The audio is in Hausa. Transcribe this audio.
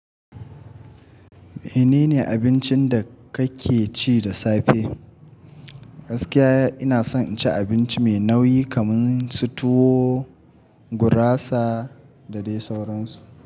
Menene abincin da kake ci da safe? Gaskiya, ina son cin abinci mai nauyi kamar su tuwo, gurasa da dai sauransu.